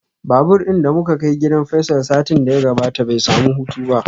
Babur din da muka kai gidan Faisal satin da ya gabata bai samu hutu ba.